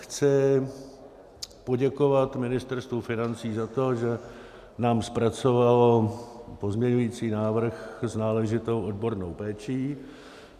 Chci poděkovat Ministerstvu financí za to, že nám zpracovalo pozměňovací návrh s náležitou odbornou péčí.